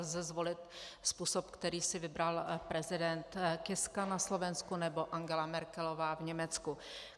Lze zvolit způsob, který si vybral prezident Kiska na Slovensku nebo Angela Merkelová v Německu.